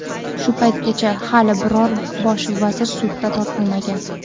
Shu paytgacha hali biror bosh vazir sudga tortilmagan.